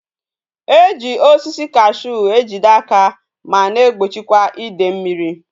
E ji osisi cashew ejide aja ma na egbochikwa ide mmiri